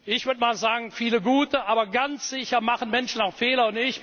Ich würde mal sagen, viele gute aber ganz sicher machen Menschen auch Fehler.